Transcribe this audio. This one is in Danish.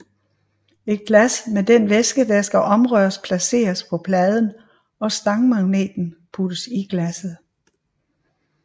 Et glas med den væske der skal omrøres placeres på pladen og stangmagneten puttes i glasset